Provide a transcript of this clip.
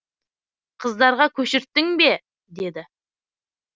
қыздарға көшірттің бе деді